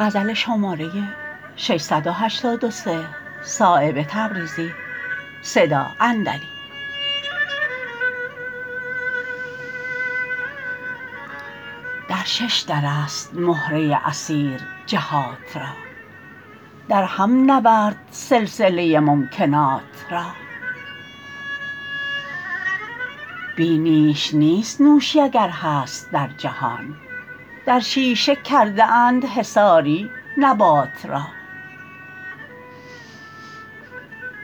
در ششدرست مهره اسیر جهات را درهم نورد سلسله ممکنات را بی نیش نیست نوشی اگر هست در جهان در شیشه کرده اند حصاری نبات را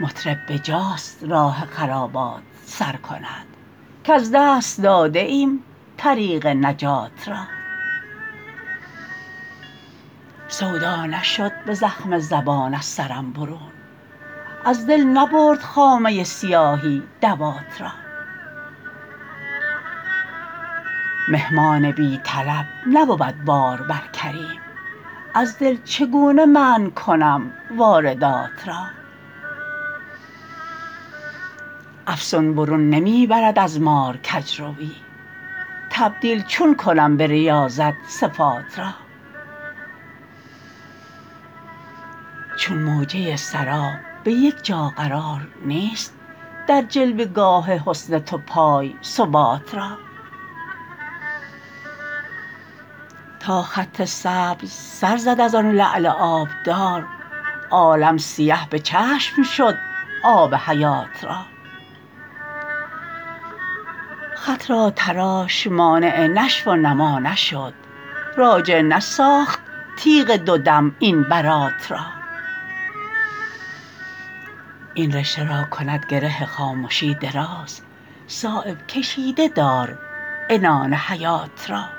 مطرب بجاست راه خرابات سر کند کز دست داده ایم طریق نجات را سودا نشد به زخم زبان از سرم برون از دل نبرد خامه سیاهی دوات را مهمان بی طلب نبود بار بر کریم از دل چگونه منع کنم واردات را افسون برون نمی برد از مار کجروی تبدیل چون کنم به ریاضت صفات را چون موجه سراب به یک جا قرار نیست در جلوه گاه حسن تو پای ثبات را تا خط سبز سر زد ازان لعل آبدار عالم سیه به چشم شد آب حیات را خط را تراش مانع نشو و نما نشد راجع نساخت تیغ دو دم این برات را این رشته را کند گره خامشی دراز صایب کشیده دار عنان حیات را